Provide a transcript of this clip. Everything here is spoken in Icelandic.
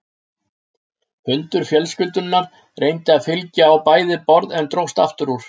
Hundur fjölskyldunnar reyndi að fylgja á bæði borð en dróst aftur úr.